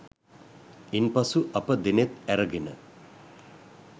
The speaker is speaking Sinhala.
ඉන් පසු අප දෙනෙත් ඇරගෙන